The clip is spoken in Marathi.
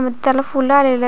त्याला फूल आलेली आहे.